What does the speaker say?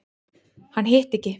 Hann hitti ekki.